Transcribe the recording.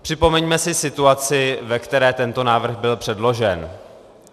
Připomeňme si situaci, ve které tento návrh byl předložen.